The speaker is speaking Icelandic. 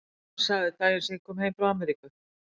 Veistu hvað hann sagði daginn sem ég kom heim frá Ameríku?